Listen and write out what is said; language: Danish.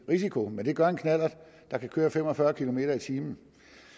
risiko men det gør en knallert der kan køre fem og fyrre kilometer per time